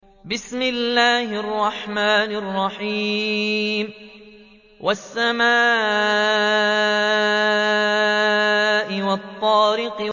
وَالسَّمَاءِ وَالطَّارِقِ